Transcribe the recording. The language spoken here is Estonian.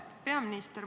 Austatud peaminister!